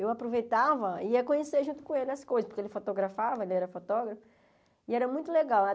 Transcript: Eu aproveitava e ia conhecer junto com ele as coisas, porque ele fotografava, ele era fotógrafo, e era muito legal.